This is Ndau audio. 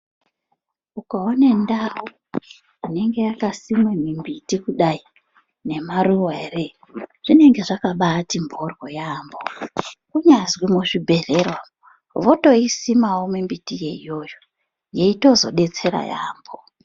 Ukaone ndau inenge yakasimwa mimbiti kudai nemaruva ere zvinenge zvakabati mbohlo yaamho. Kunyazwi muzvibhedhlera umwo votoisimavo mimbiti yeyoyo yeitozobetsera yaamho.